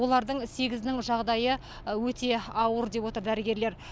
олардың сегізінің жағдайы өте ауыр деп отыр дәрігерлер